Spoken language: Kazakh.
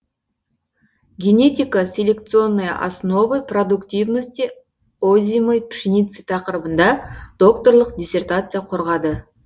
генетико селекционные основы продуктивности озимой пшеницы тақырыбында докторлық диссертация қорғады